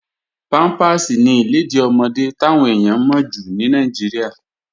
Pámpàsì ni ìlèdí ọmọdé táwọn èèyàn mọ̀ jù ní Nàìjíríà.